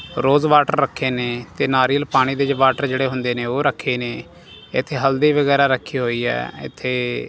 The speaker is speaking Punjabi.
ਰੋਜ਼ ਵਾਟਰ ਰੱਖੇ ਨੇਂ ਤੇ ਨਾਰੀਅਲ ਪਾਣੀ ਦੇ ਵਿੱਚ ਵਾਟਰ ਜੇਹੜੇ ਹੁੰਦੇਂ ਨੇਂ ਓਹ ਰੱਖੇ ਨੇਂ ਏੱਥੇ ਹਲਦੀ ਵਗੈਰਾ ਰੱਖੀ ਹੋਈ ਹੈ ਏੱਥੇ--